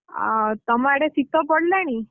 ଆଉ ତମ ଆଡେ ଶୀତ ପଡିଲାଣି?